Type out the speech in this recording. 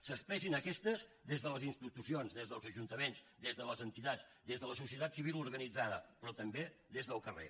s’expressin aquestes des de les institucions des dels ajuntaments des de les entitats des de la societat civil organitzada però també des del carrer